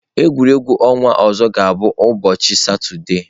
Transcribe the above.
Egwuregwu ọnwa ọzọ ga-abụ n'ụbọchị Satọde.